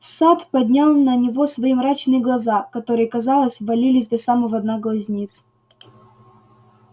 сатт поднял на него свои мрачные глаза которые казалось ввалились до самого дна глазниц